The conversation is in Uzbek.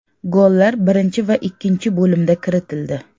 Gollar birinchi va ikkinchi bo‘limda kiritildi.